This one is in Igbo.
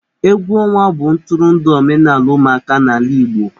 Egwu ọnwa bụ ntụrụndụ omenala ụmụaka n'ala igbo.